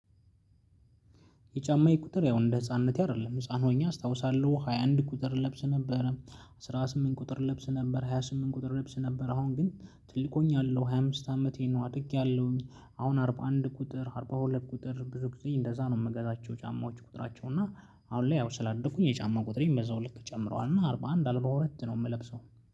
የጫማዬ ቁጥር ያው እንደ ህፃንነቴ አይደለም ህፃን ሆኜ አስታውሳለሁ ሃያ አንድ ቁጥር እለብስ ነበረ፤ አስራ ስምንት ቁጥር እለብስ ነበረ፤ ሃያ ስምንት ቁጥር እለብስ ነበር፤ አሁን ግን ትልቅ ሆኛለሁ ሃያ አምስት አመቴ ነው። አድጌያለሁኝ አሁን አርባ አንድ ቁጥር፣ አርባ ሁለት ቁጥር ብዙ ጊዜ እንደዛ ነው የምገዛቸው ጫማዎች ቁጥራቸው እና። አሁን ላይ ያው ስላደኩኝ የጫማው ቁጥር በዛው ልክ ጨምረዋል እና አርባ አንድ አለም በሁለት ነው የምለብሰው።